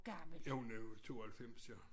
Jo hun er jo 92 eller